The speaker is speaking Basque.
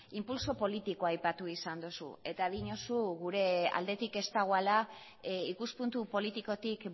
inpultso politikoa aipatu izan duzu eta diozu gure aldetik ez dagoela ikuspuntu politikotik